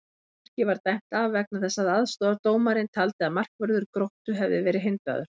Markið var dæmt af vegna þess að aðstoðardómarinn taldi að markvörður Gróttu hefði verið hindraður!